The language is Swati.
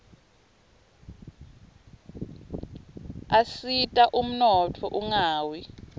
asita ummotfo unqawi